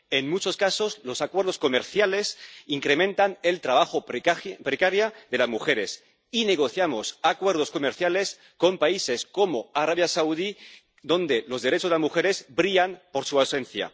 En muchos casos los acuerdos comerciales incrementan el trabajo precario de las mujeres y negociamos acuerdos comerciales con países como Arabia Saudí, donde los derechos de las mujeres brillan por su ausencia.